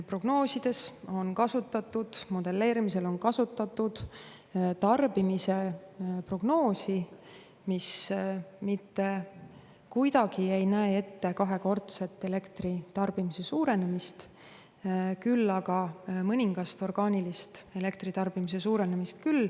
Prognoosides, modelleerimisel on kasutatud tarbimise prognoosi, mis mitte kuidagi ei näe ette kahekordset elektritarbimise suurenemist, küll aga mõningast orgaanilist elektritarbimise suurenemist.